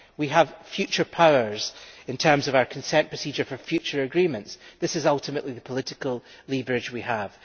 We have future powers in terms of our consent procedure for future agreements this is, ultimately, the political leverage we have.